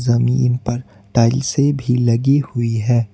ज़मीन पर टाइलसें भी लगी हुईं हैं।